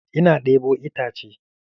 Ina ɗebo itace